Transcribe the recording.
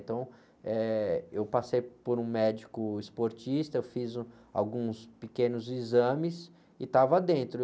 Então, eh, eu passei por um médico esportista, eu fiz, uh, alguns pequenos exames e estava dentro.